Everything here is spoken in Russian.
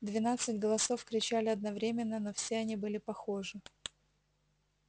двенадцать голосов кричали одновременно но все они были похожи